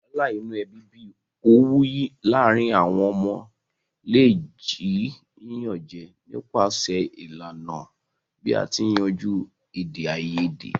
Wàhàlà inu ebí bi owú láàrin àwon ọmọ le ji yíyanjú nipasẹ̀ ìlànà bi a ti n yanjú èdèayedè